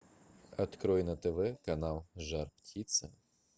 открой на тв канал жар птица